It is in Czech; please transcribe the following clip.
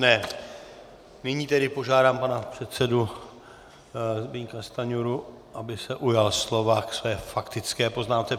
Nyní tedy požádám pana předsedu Zbyňka Stanjuru, aby se ujal slova ke své faktické poznámce.